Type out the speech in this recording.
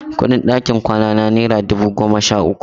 Kuɗin ɗakin kwanana naira dubu goma sha uku.